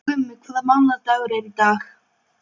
Gummi, hvaða mánaðardagur er í dag?